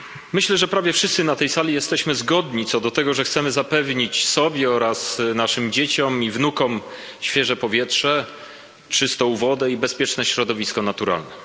Myślę, że prawie wszyscy na tej sali jesteśmy zgodni co do tego, że chcemy zapewnić sobie oraz naszym dzieciom i wnukom świeże powietrze, czystą wodę i bezpieczne środowisko naturalne.